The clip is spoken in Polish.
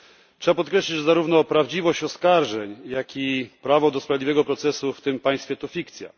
Trzeba podkreślić, że zarówno prawdziwość oskarżeń, jak i prawo do sprawiedliwego procesu w tym państwie to fikcja.